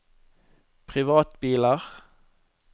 privatbiler